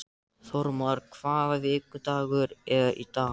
Þórmar, hvaða vikudagur er í dag?